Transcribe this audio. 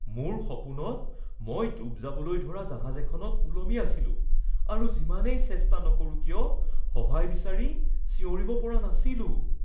মোৰ সপোনত মই ডুব যাবলৈ ধৰা জাহাজ এখনত ওলমি আছিলো আৰু যিমানেই চেষ্টা নকৰোঁ কিয় সহায় বিচাৰি চিঞৰিব পৰা নাছিলো।